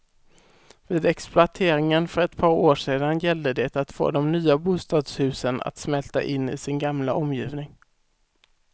Vid exploateringen för ett par år sedan gällde det att få de nya bostadshusen att smälta in i sin gamla omgivning.